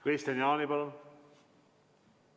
Kristian Jaani, palun!